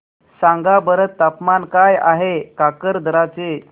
सांगा बरं तापमान काय आहे काकरदरा चे